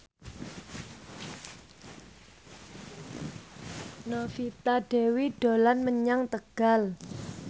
Novita Dewi dolan menyang Tegal